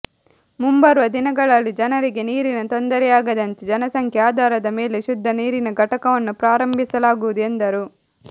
ಮುಂಬರುವ ದಿನಗಳಲ್ಲಿ ಜನರಿಗೆ ನೀರಿನ ತೊಂದರೆಯಾಗದಂತೆ ಜನಸಂಖ್ಯೆ ಆಧಾರದ ಮೇಲೆ ಶುದ್ದ ನೀರಿನ ಘಟಕವನ್ನು ಪ್ರಾರಂಭಿಸಲಾಗುವುದು ಎಂದರು